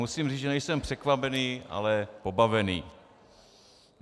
Musím říct, že nejsem překvapený, ale pobavený.